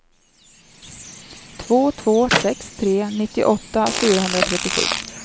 två två sex tre nittioåtta fyrahundratrettiosju